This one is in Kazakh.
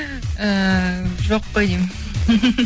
ііі жоқ қой деймін